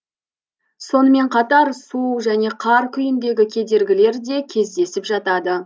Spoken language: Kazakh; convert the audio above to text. сонымен қатар су және қар күйіндегі кедергілер де кездесіп жатады